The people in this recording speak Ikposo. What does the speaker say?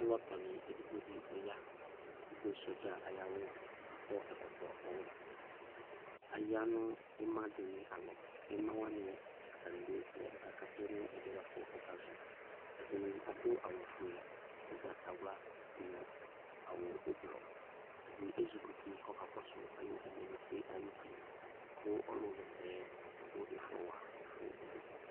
Alɔtɔnɩ edigbo dɩ ɔy Adʋ sɔdza ayʋ awʋ kʋ akɔ ɛkɔtɔ ɔwɛ Aya nʋ ɩma dɩnɩ alɔ Ɩma wanɩ, atanɩ bɩ aya kʋ akakatʋ nʋ ɛdɩ yɛ bʋa kʋ ɔkazɔ Ɛdɩnɩ adʋ awʋfue, ʋgbatawla nʋ awʋ ʋblɔ Ɛdɩ ezikuti kʋ ɔkakɔsʋ ayʋ ɛlɛnʋti yɛ ayuti kʋ ɔlʋɣa ɛsɛ yɛ adʋ ɩfɔ wa ɛfʋɛdɩ